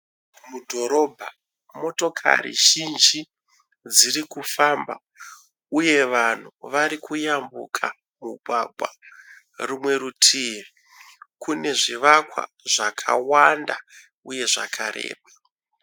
Mudhorobha, motokari zhinji dzirikufamba. Uye vanhu varikuyambuka mugwagwa. Rumwe rutivi kunezvivakwa zvakawanda uye zvakareba.